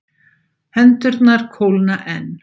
Hendurnar kólna enn.